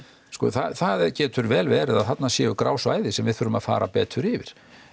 sko það getur vel verið að þarna séu grá svæði sem við þurfum að fara betur yfir